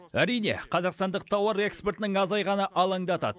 әрине қазақстандық тауар экспортының азайғаны алаңдатады